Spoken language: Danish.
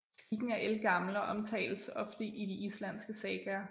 Skikken er ældgammel og omtales ofte i de islandske sagaer